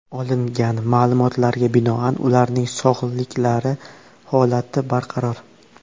Olingan ma’lumotlarga binoan ularning sog‘liklari holati barqaror.